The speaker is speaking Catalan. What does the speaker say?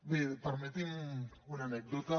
bé permetin me una anècdota